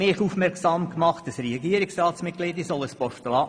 Ein Mitglied der Regierung hat mir das empfohlen.